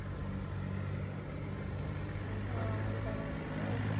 ସେଇ ତ ଆଉ ଚିଡା ଲାଗିବ ଆଉ